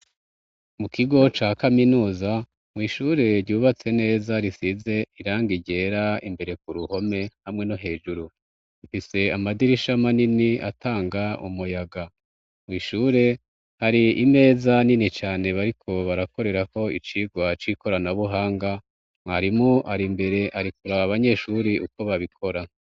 Mu kigo ca kaminuza mw'ishure ryubatse neza risize iranga iryera imbere ku ruhome hamwe no hejuru mfise amadirishama nini atanga umuyaga mw'ishure hari imeza nini cane bariko barakorerako icirwa c'ikorana buhanga mwarimu r imbere arikuri aba abanyeshuri uko babikora.